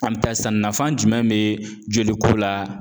An bɛ taa sisan, nafa jumɛn be joliko la ?